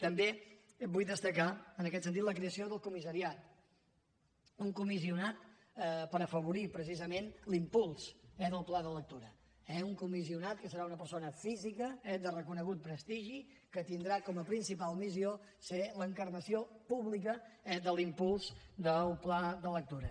també vull destacar en aquest sentit la creació del comissariat un comissionat per afavorir precisament l’impuls del pla de lectura eh un comissionat que serà una persona física de reconegut prestigi que tindrà com a principal missió ser l’encarnació pública de l’impuls del pla de lectura